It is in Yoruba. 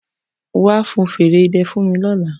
Wa fẹ fèrè idẹ fun mi ọla!